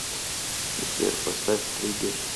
сбер поставь триггер